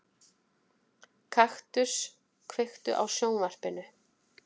Kaktus, kveiktu á sjónvarpinu.